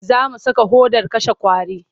Za mu saka hodar kashe ƙwari.